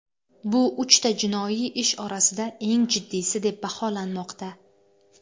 Bu uchta jinoiy ish orasida eng jiddiysi deb baholanmoqda.